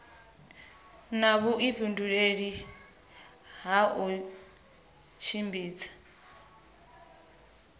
na vhuifhinduleli ha u tshimbidza